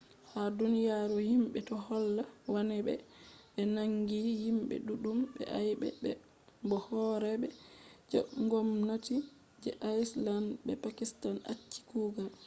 ha duniyaru himɓe do holla wannai be be naangi himɓe ɗuɗɗum be aybe bo horeeɓe je ngomnati je iceland be pakistan acci kugal